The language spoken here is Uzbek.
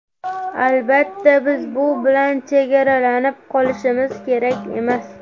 Albatta, biz bu bilan chegaralanib qolishimiz kerak emas.